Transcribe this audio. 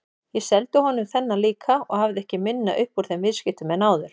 Ég seldi honum þennan líka og hafði ekki minna upp úr þeim viðskiptum en áður.